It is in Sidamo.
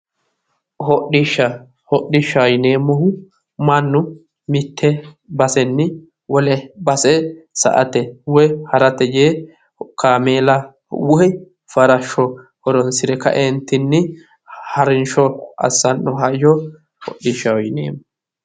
Hodhisha, hodishaho yineemmohu mannu mitte basenni wole base sa"ate woy harate yee kaameela woy farashsho horonsi're ka"eentinni harinsho assiranno hayyo hodhishshaho yineemmo.